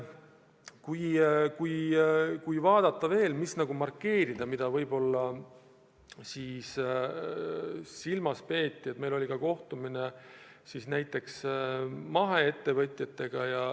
Kui markeerida veel midagi, siis meil oli ka kohtumine maheettevõtjatega.